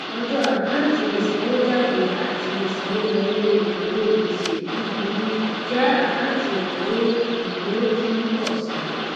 ọjọ àkáǹtì ìsanwójáde àti ìsanwówọlé ìnáwó gbèsè búburú jẹ àkáǹtì ìnáwó ìnáwó tí ń pọ si